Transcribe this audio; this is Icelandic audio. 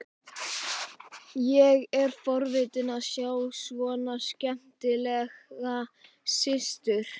Ég er forvitinn að sjá svona skemmtilega systur.